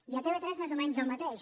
i a tv3 més o menys el mateix